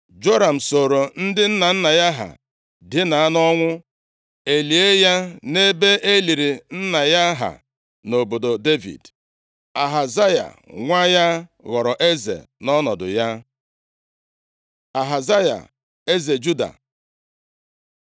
Joram sooro ndị nna nna ya ha dina nʼọnwụ, e lie ya nʼebe e liri nna ya ha nʼobodo Devid. Ahazaya nwa ya ghọrọ eze nʼọnọdụ ya. Ahazaya eze Juda